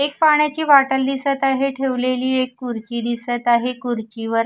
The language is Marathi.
एक पाण्याची बाटल दिसत आहे ठेवलेली एक खुर्ची दिसत आहे खुर्चीवर--